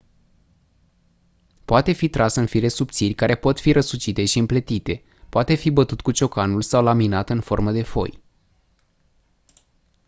poate fi tras în fire subțiri care pot fi răsucite și împletite poate fi bătut cu ciocanul sau laminat în formă de foi